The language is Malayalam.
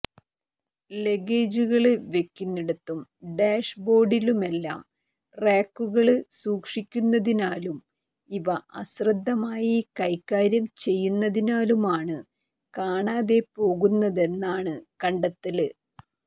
ലഗേജുകള് വെക്കുന്നിടത്തും ഡാഷ് ബോര്ഡിലുമെല്ലാം റാക്കുകള് സുക്ഷിക്കുന്നതിനാലും ഇവ അശ്രദ്ധമായി കൈകാര്യം ചെയ്യുന്നതിനാലുമാണ് കാണാതെ പോകുന്നതെന്നാണ് കണ്ടെത്തല്